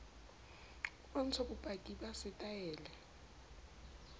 o bontsha bopaki ba setaele